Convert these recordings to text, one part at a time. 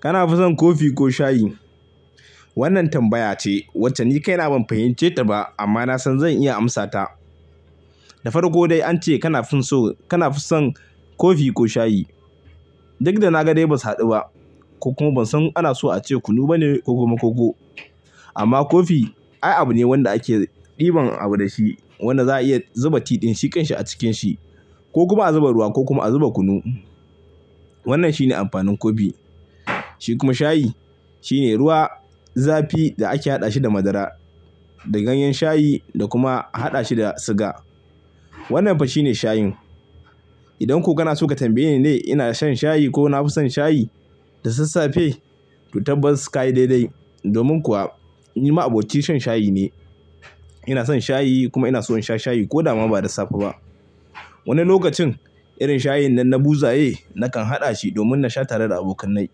Kana fison Kofi ko shayi? Wannan tambaya ce wacce ni kaina ban fahimce ta ba amma na san zan iya amsa ta. Da farko dai ance kana fison Kofi ko shayi? Duk da na ga dai ban haɗu ba ko kuma ban san ana so a ce kunu bane ko kuma koko. Amma Kofi ayaba ne wanda ake ɗiban abu da shi wanda za a iya zuba ti ɗin, sikin shi a cikin shi ko kuma a zuba ruwa ko kuma a zuba kunu. Wannan shine amfanin Kofi. Shi kuma shayi shine ruwa zafi da ake haɗa shi da madara, da ganyen shayi da kuma a haɗa shi da siga. Wannan fa shine shayin. Idan ku gana suka tambaye ni dai ina shan shayi ko na fison shayi da sassafe, to tabban suka yi dai-dai. Domin kuwa ni ma abocin shan shayi ne. Ina son shayi kuma ina so in sha shayi ko da ba da safe ba. Wani lokacin irin shayin nan na buza ye nakan haɗa shi domin in sha tare da abokanai.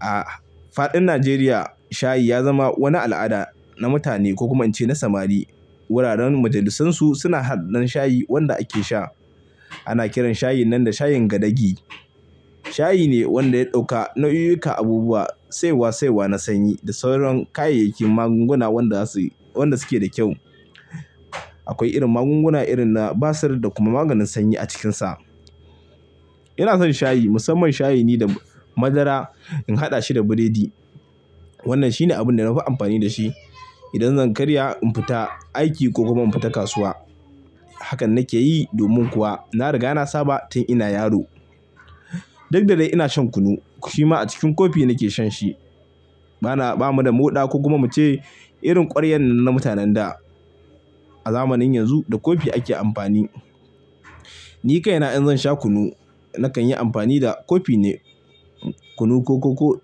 A faɗin Najeriya shayi ya zama wani al'ada na mutane ko kuma ance na samari. Wuraren majalisunsu suna haɗa ɗan shayi wanda ake sha. Ana kiran shayin nan da shayin gadagi. Shayi ne wanda ya ɗauka nau'uka abubuwa, saiwa-saiwa na sanyi da sauran kayayyakin magunguna wanda suke da kyau. Akwai irin magunguna irin na basir da kuma maganin sanyi a cikinsa. Ina son shayi, musamman shayi ne da madara in haɗa shi da biredi. Wannan shine abin da na fi amfani da shi idan zan karya in fita aiki ko kuma in fita kasuwa. Hakan nake yi domin kuwa na riga na saba tun ina yaro. Duk da dai ina shan kunu shi ma a cikin Kofi nake shan shi. Ba mu da moɗa ko kuma mu ce irin ƙwaryan nan na mutanen da. A zamanin yanzu da Kofi ake amfani. Ni kaina in zan sha kunu nakan yi amfani da Kofi ne. Kunu ko koko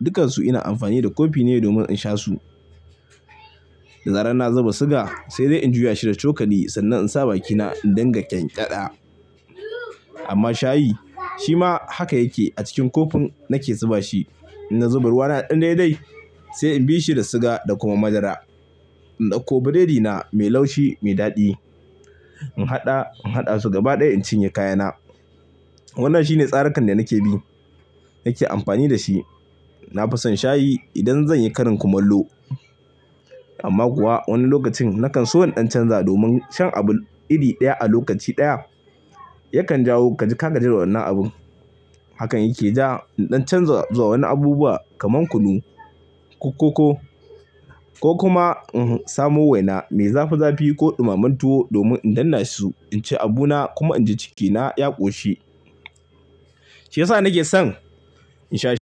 dukkansu ina amfani da Kofi ne domin in sha su. Da zarar na zuba siga sai dai in juya shi da cokali sannan in sa bakina in danga ƙyanƙyaɗa. Amma shayi shi ma haka yake. A cikin Kofin nake zuba shi. In na zuba ruwa na ɗan dai-dai sai in bi shi da siga da kuma madara. In ɗauko biredina mai laushi mai daɗi. In haɗa, in haɗa su gaba ɗaya in cinye kayana. Wannan shine tsarakan da nake bi, nake amfani da shi. Na fison shayi idan zan yi karin kumallo. Amma kuwa wani lokacin nakan so in ɗan canza domin shan abu iri ɗaya a lokaci ɗaya yakan jawo ka ji ka gaji da wannan abun. Hakan yake ja in ɗan canza zuwa wani abubuwa kamar kunu ko koko ko kuma in samo waina mai zafi-zafi ko ɗumammen tuwo domin in danna shi su in ci abuna kuma in ji cikina ya ƙoshi. Shi yasa nake son in sha shi.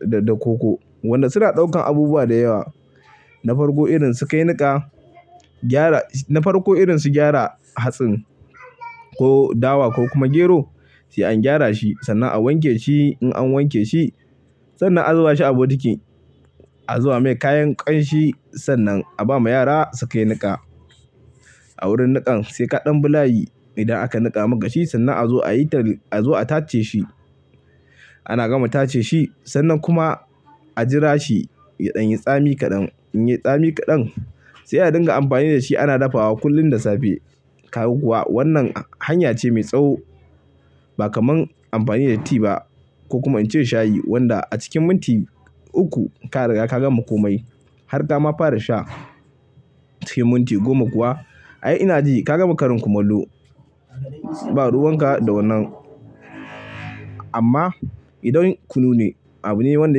Da koko wanda suna ɗaukan abubuwa da yawa. Na farko irin su kai niƙa, na farko irin su gyara hatsin ko dawa ko kuma gero, sai an gyara shi sannan a wanke shi. In an wanke shi sannan a zuba shi a bokitin a zuba mai kayan ƙanshi sannan a ba ma yara su kai niƙa. A wurin niƙan sai kaɗan bulayi idan aka niƙa ma kashi sannan a zo a tace shi. Ana gama tace shi sannan kuma a jira shi ya ɗan yi tsami kaɗan. In ya yi tsami kaɗan sai a dinga amfani da shi ana dafawa kullum da safe. Kuma wannan hanya ce mai tsawo ba kaman amfani da tea ba ko kuma in ce shayi wanda a cikin minti uku ka riga ka gama komai. Har kama fara sha sai minti goma kuwa ai ina ji ka gama ƙarin kumallo. Ba ruwanka da wannan. Amma idan kunu ne abu ne wanda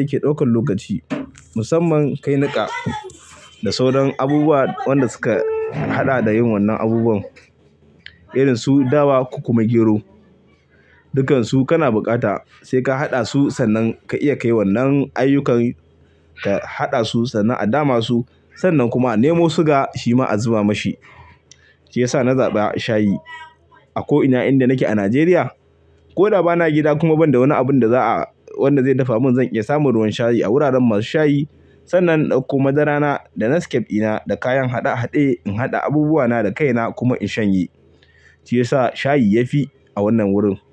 yake ɗaukan lokaci musamman kai niƙa da sauran abubuwa wanda suka haɗa da yin wannan abubuwan irin su dawa ko kuma gero. Dukkansu kana buƙata sai ka haɗa su sannan ka iya kai wannan ayyukan ka haɗa su sannan a dama su sannan kuma a nemo siga shi ma a zuba mashi. Shi ya sa na zaɓa shayi a ko ina inda nake a Najeriya. Ko da ba na gida kuma ban da wani abun da za'a wanda zai dafa mun zan iya samun ruwan shayi a wuraren masu shayi sannan in ɗauko madarana da Nescafe ɗina da kayan haɗe-haɗe in haɗa abubuwana da kaina kuma in shanye. Shi ya sa shayi ya fi a wannan wurin.